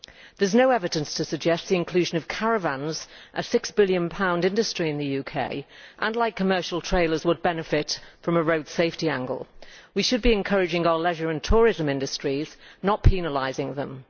There is no evidence to suggest that the inclusion of caravans a six billion pound industry in the UK and light commercial trailers would benefit from a road safety angle. We should be encouraging our leisure and tourism industries, not penalising them.